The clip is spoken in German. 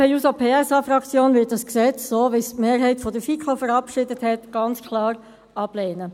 Die SP-JUSO-PSA-Fraktion wird das Gesetz so, wie es die Mehrheit der FiKo verabschiedet hat, ganz klar ablehnen.